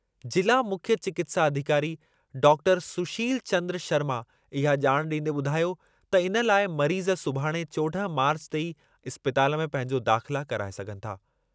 जिला मुख्य चिकित्सा अधिकारी डॉक्टर सुशील चन्द्र शर्मा इहा ॼाण ॾींदे ॿुधायो त इन लाइ मरीज़ सुभाणे चोॾह मार्च ते ई इस्पताल में पंहिंजो दाख़िला कराए सघनि था।